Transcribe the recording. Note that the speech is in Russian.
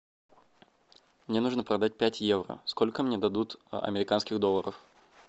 мне нужно продать пять евро сколько мне дадут американских долларов